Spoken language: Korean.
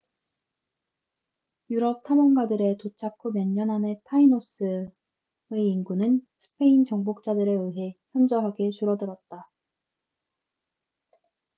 유럽 탐험가들의 도착 후 몇 년 안에 타이노스tainos의 인구는 스페인 정복자들에 의해 현저하게 줄어들었다